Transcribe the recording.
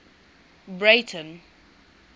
breyten